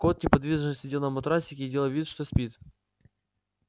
кот неподвижно сидел на матрасике и делал вид что спит